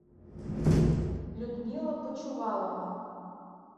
людмила почувалова